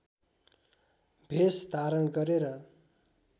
भेष धारण गरेर